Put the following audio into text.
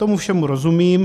Tomu všemu rozumím.